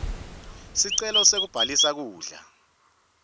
sicelo sekubhaliswa kudla